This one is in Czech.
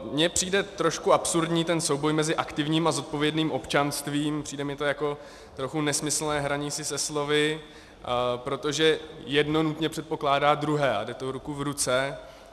Mně přijde trošku absurdní ten souboj mezi aktivním a zodpovědným občanstvím, přijde mi to jako trochu nesmyslné hraní si se slovy, protože jedno nutně předpokládá druhé a jde to ruku v ruce.